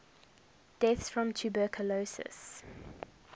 deaths from tuberculosis